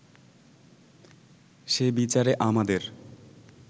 সে বিচারে আমাদের